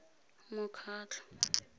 mokgatlho